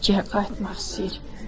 Bakıya qayıtmaq istəyir.